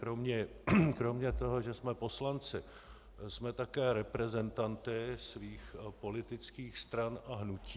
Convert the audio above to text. Kromě toho, že jsme poslanci, jsme také reprezentanty svých politických stran a hnutí.